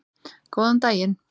Góðan daginn!